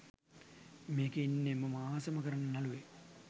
මේකෙ ඉන්නෙ මම ආසම කරන නළුවෙක්.